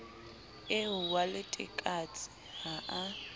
eo wa letekatse ha a